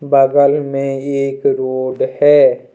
बगल में एक रोड है।